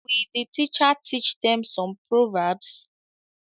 Will the teacher teach them some proverbs